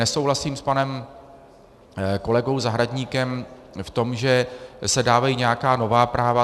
Nesouhlasím s panem kolegou Zahradníkem v tom, že se dávají nějaká nová práva.